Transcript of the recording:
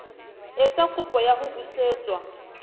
etsa kopo ya ho busetswa